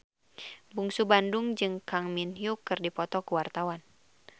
Bungsu Bandung jeung Kang Min Hyuk keur dipoto ku wartawan